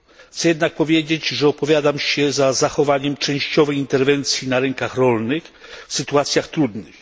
Chcę jednak powiedzieć, że opowiadam się za zachowaniem częściowej interwencji na rynkach rolnych w sytuacjach trudnych.